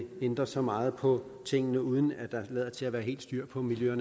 ændre så meget på tingene uden at der lader til at være helt styr på miljø